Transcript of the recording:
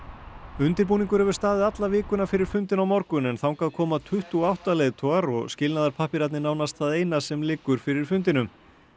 undirbúningur hefur staðið alla vikuna fyrir fundinn á morgun en þangað koma tuttugu og átta leiðtogar og nánast það eina sem liggur fyrir fundinum